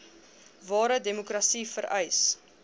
ware demokrasie vereis